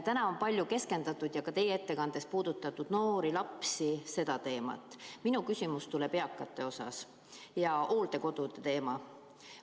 Täna on palju käsitletud ja ka teie oma ettekandes puudutasite noorte ja laste teemat, aga minu küsimus tuleb eakate ja hooldekodude kohta.